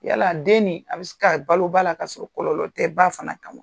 Yala den nin a bi se ka balo ba la, ka sɔrɔ kɔlɔlɔ tɛ ba fana kan wa ?